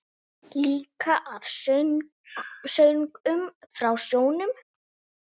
Líka af söngnum frá sjónum.